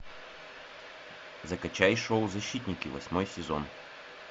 закачай шоу защитники восьмой сезон